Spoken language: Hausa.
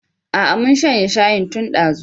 Aa mun shanye shayin tun dazu